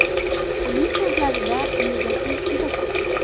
Uning so‘zlarida negativ juda ko‘p.